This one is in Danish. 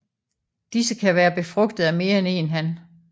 Disse kan være befrugtet af mere end én han